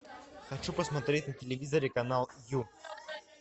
хочу посмотреть на телевизоре канал ю